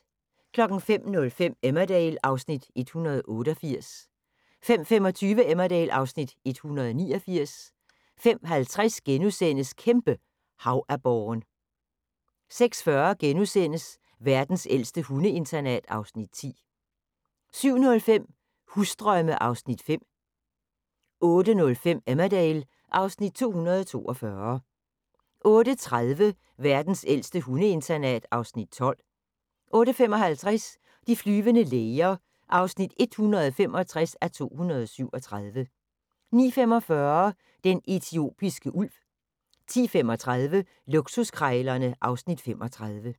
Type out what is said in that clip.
05:05: Emmerdale (Afs. 188) 05:25: Emmerdale (Afs. 189) 05:50: Kæmpe havaborren * 06:40: Verdens ældste hundeinternat (Afs. 10)* 07:05: Husdrømme (Afs. 5) 08:05: Emmerdale (Afs. 242) 08:30: Verdens ældste hundeinternat (Afs. 12) 08:55: De flyvende læger (165:237) 09:45: Den etiopiske ulv 10:35: Luksuskrejlerne (Afs. 35)